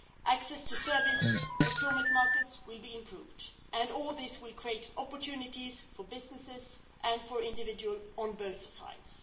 Access to service procurement markets will be improved, and all this will create opportunities for businesses and for individuals on both sides.